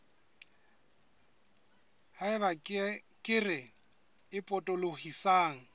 ha eba kere e potolohisang